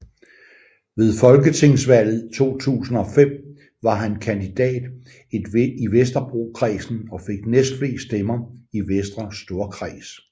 Ved folketingsvalget 2005 var han kandidat i Vesterbrokredsen og fik næstflest stemmer i Vestre Storkreds